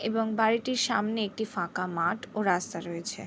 এবং বাড়িটির সামনে একটি ফাঁকা মাঠ ও রাস্তা রয়েছে।